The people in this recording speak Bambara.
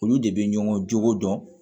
Olu de bɛ ɲɔgɔn jogo dɔn